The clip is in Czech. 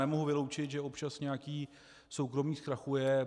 Já nemohu vyloučit, že občas nějaký soukromník zkrachuje.